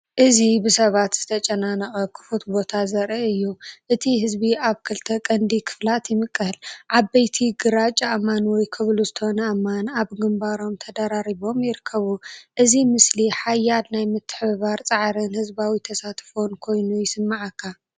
እዚ ብሰባት ዝተጨናነቐ ክፉት ቦታ ዘርኢ እዩ። እቲ ህዝቢ ኣብ ክልተ ቀንዲ ክፋላት ይምቀል። ዓበይቲ ግራጭ ኣእማን ወይ ኮብልስቶን ኣእማን ኣብ ግንባሮም ተደራሪቦም ይርከቡ። እዚ ምስሊ ሓያል ናይ ምትሕብባር ጻዕርን ህዝባዊ ተሳትፎን ኮይኑ ይስምዓካ።